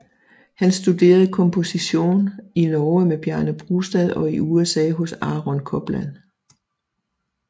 Han studerede komposition i Norge med Bjarne Brustad og i USA hos Aaron Copland